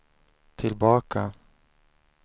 tillbaka